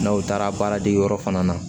N'aw taara baaradege yɔrɔ fana na